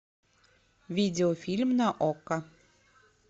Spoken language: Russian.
видео фильм на окко